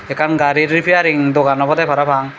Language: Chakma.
ekkan gari repairing dogan obode parapang.